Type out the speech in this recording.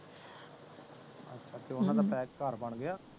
ਅਤੇ ਓਹਨਾ ਦਾ ਬੈਕ ਹਮ ਘਰ ਬਣ ਗਿਆ